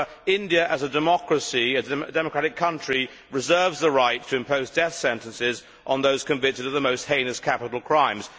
India, as a democratic country, reserves the right to impose death sentences on those convicted of the most heinous capital crimes.